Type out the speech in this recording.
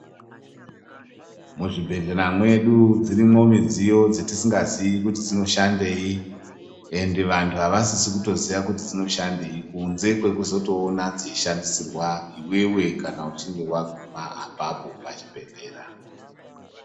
Muzvibhedhlera mwedu dzirimo midziyo dzetisingaziyi kuti dzinoshandei, ende vantu havasisi kutoziya kuti dzinoshandei kunze kwekutozoona dzeishandisirwa iwewe kana waguma apapopachibhedhlera.